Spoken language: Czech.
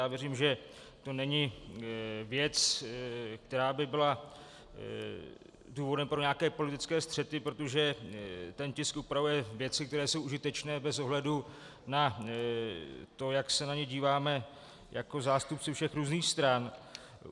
Já věřím, že to není věc, která by byla důvodem pro nějaké politické střety, protože ten tisk upravuje věci, které jsou užitečné bez ohledu na to, jak se na ně díváme jako zástupci všech různých stran.